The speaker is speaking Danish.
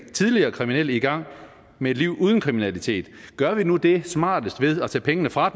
tidligere kriminelle i gang med et liv uden kriminalitet gør vi nu det smarteste ved at tage pengene fra